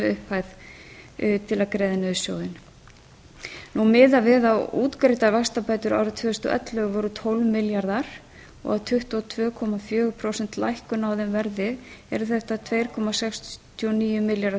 upp hæð til að greiða niður sjóðinn miðað við að útgreiddar vaxtabætur árið tvö þúsund og ellefu voru tólf milljarðar og að tuttugu og tvö komma fjögur prósent lækkun á þeim verði eru þetta tvö komma sextíu og níu milljarðar